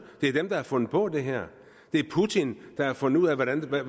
det er dem der har fundet på det her det er putin der har fundet ud af hvordan den her